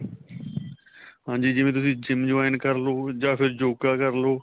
ਹਾਂਜੀ ਜਿਵੇਂ ਤੁਸੀਂ GYM join ਕਰਲੋ ਜਾਂ ਫ਼ਿਰ ਯੋਗਾ ਕਰਲੋ